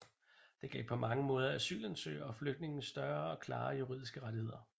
Den gav på mange måder asylansøgere og flygtninge større og klarere juridiske rettigheder